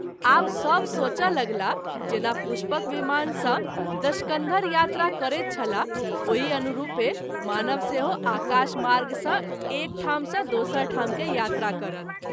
आव सभ सोचय लगलाह जेना पुष्पक विमान सँ दशकन्धर यात्रा करैत छलाह ओहि अनुरूपे मानव सेहो आकाश मार्ग सँ एक ठाम सँ दोसर ठाम के यात्रा करत।